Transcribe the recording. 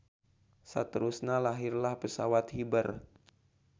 Saterusna lahirlah pesawat hiber.